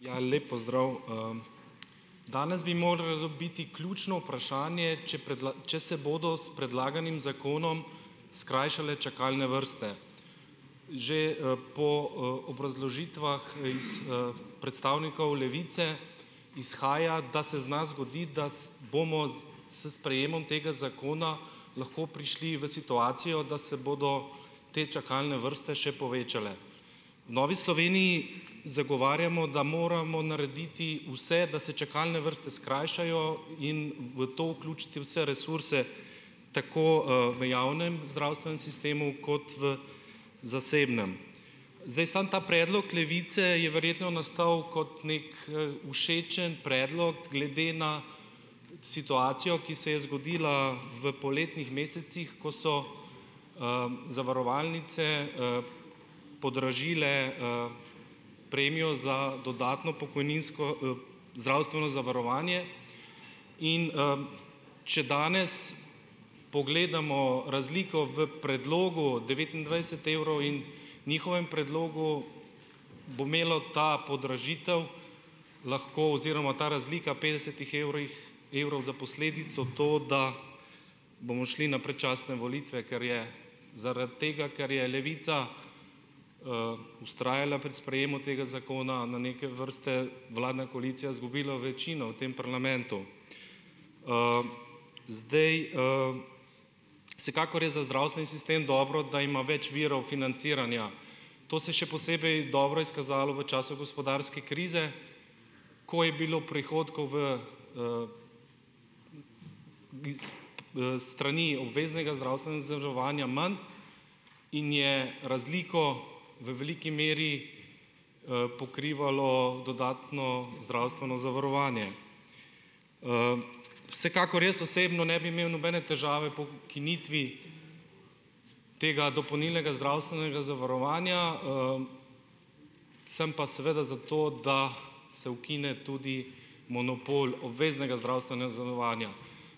Ja, lep pozdrav, Danes bi moralo biti ključno vprašanje, če če se bodo s predlaganim zakonom skrajšale čakalne vrste. Že, po, obrazložitvah iz predstavnikov Levice izhaja, da se zna zgoditi, da bomo s sprejemom tega zakona lahko prišli v situacijo, da se bodo te čakalne vrste še povečale. V Novi Sloveniji zagovarjamo, da moramo narediti vse, da se čakalne vrste skrajšajo, in v to vključiti vse resurse, tako, v javnem zdravstvenem sistemu kot v zasebnem. Zdaj samo ta predlog Levice je verjetno nastal kot neki, všečen predlog glede na situacijo, ki se je zgodila v poletnih mesecih, ko so, zavarovalnice, podražile, premijo za dodatno pokojninsko zdravstveno zavarovanje. In, če danes pogledamo razliko v predlogu devetindvajset evrov in njihovem predlogu, bo imela ta podražitev lahko oziroma ta razlika petdesetih evrih evrov za posledico to, da bomo šli na predčasne volitve, ker je zaradi tega, ker je Levica vztrajala pri sprejemu tega zakona na neke vrste, vladna koalicija izgubila večino v tem parlamentu. Zdaj, vsekakor je za zdravstveni sistem dobro, da ima več virov financiranja. To saj še posebej dobro izkazalo v času gospodarske krize, ko je bilo prihodkov v, iz, s strani obveznega zdravstvenega zavarovanja manj in je razliko v veliki meri, pokrivalo dodatno zdravstveno zavarovanje. Vsekakor jaz osebno ne bi imel nobene težave po ukinitvi tega dopolnilnega zdravstvenega zavarovanja, sem pa seveda za to, da se ukine tudi monopol obveznega zavarovanja.